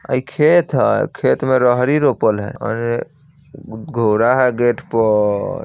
ए इ खेत हेय खेत में रहरी रोपल हेय घोड़ा है गेट पर--